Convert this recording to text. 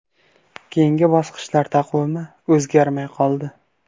Keyingi bosqichlar taqvimi o‘zgarmay qoldi.